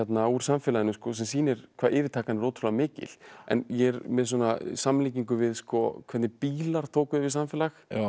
úr samfélaginu sem sýnir hvað yfirtakan er ótrúlega mikil en ég er með samlíkingu við hvernig bílar tóku yfir samfélag